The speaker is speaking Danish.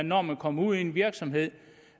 når man kommer ud i en virksomhed